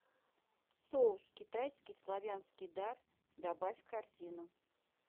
соус китайский славянский дар добавь в корзину